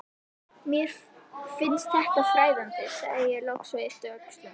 Mér finnst þetta fræðandi, sagði ég loks og yppti öxlum.